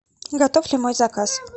готов ли мой заказ